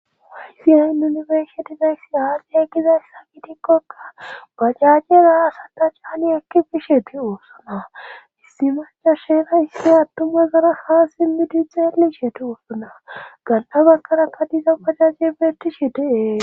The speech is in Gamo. Haysiyayn yunifersetizay aasie gizayssa gitikkokka bacajjeraa asata chaani ekki bishe te oosana hissimascha sheera issi attumazara haa simmiti xeelishetu ufuna gan7a bakana kadisa bajajje bertishe dee